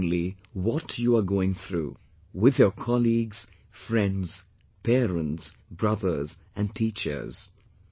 Share openly what you are going through, with your colleagues, friends, parents, brothers, and teachers